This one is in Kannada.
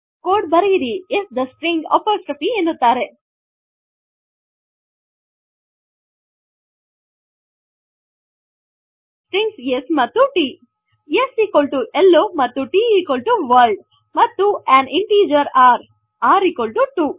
ಕೋಡ್ ಬರೆಯಿರಿ s ಥೆ ಸ್ಟ್ರಿಂಗ್ ಅಪೊಸ್ಟ್ರೋಫ್ ಎನ್ನುತ್ತಾರೆ ಸ್ಟ್ರಿಂಗ್ಸ್ s ಮತ್ತು ಟ್ s ಹೆಲ್ಲೊ ಮತ್ತು t ವರ್ಲ್ಡ್ ಮತ್ತು ಅನ್ ಇಂಟಿಜರ್ ರ್ r 2